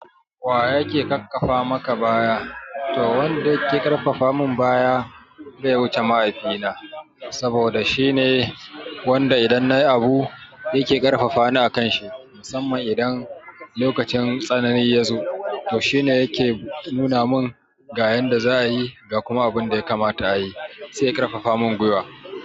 Wa yake ƙarƙafa maka baya? To wanda yake karfafa mun baya bai wuce mahaifi na. Saboda shine wanda idan nayi abu, yake karfafa ni a kan shi. Musaman idan lokacin sanani yazo to shi ne yake nuna mun ga yanda za'a yi ga kuma abun da ya kamata ayi. Sai ya ƙarfafa mun gwiwa.